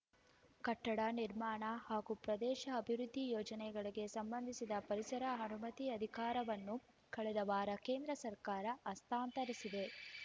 ಕಟ್ಟಡ ನಿರ್ಮಾಣ ಹಾಗೂ ಪ್ರದೇಶ ಅಭಿವೃದ್ಧಿ ಯೋಜನೆಗಳಿಗೆ ಸಂಬಂಧಿಸಿದ ಪರಿಸರ ಅನುಮತಿ ಅಧಿಕಾರವನ್ನು ಕಳೆದ ವಾರ ಕೇಂದ್ರ ಸರ್ಕಾರ ಹಸ್ತಾಂತರಿಸಿದೆ